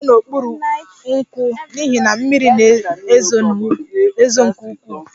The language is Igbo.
M guzo n'okpuru nkwụ n'ihi na mmiri na-ezo nke ukwuu